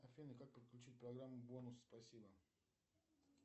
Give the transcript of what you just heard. афина как подключить программу бонус спасибо